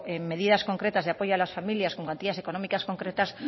en medidas concretas de apoyo a las familias con cuantías económicas concretas